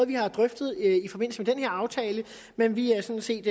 vi har drøftet i forbindelse med den her aftale men vi er sådan set